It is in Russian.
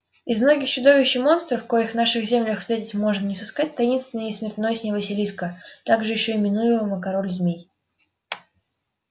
из многих чудищ и монстров коих в наших землях встретить можно не сыскать таинственней и смертоносней василиска также ещё именуемого король змей